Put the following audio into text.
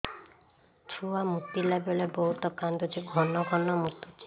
ଛୁଆ ମୁତିଲା ବେଳେ ବହୁତ କାନ୍ଦୁଛି ଘନ ଘନ ମୁତୁଛି